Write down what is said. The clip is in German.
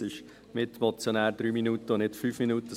Mitmotionäre haben eine Redezeit von 3 und nicht von 5 Minuten.